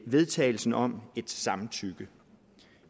vedtagelsen om et samtykke